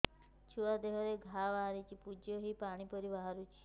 ଛୁଆ ଦେହରେ ଘା ବାହାରିଛି ପୁଜ ହେଇ ପାଣି ପରି ବାହାରୁଚି